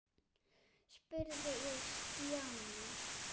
spurði ég Stjána.